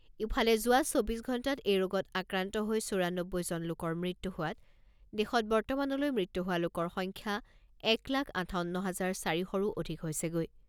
ইফালে, যোৱা চৌব্বিছ ঘণ্টাত এই ৰোগত আক্ৰান্ত হৈ চৌৰানব্বৈ জন লোকৰ মৃত্যু হোৱাত দেশত বৰ্তমানলৈ মৃত্যু হোৱা লোকৰ সংখ্যাএক লাখ আঠাৱন্ন হাজাৰ চাৰি শৰো অধিক হৈছেগৈ।